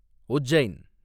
Ujjain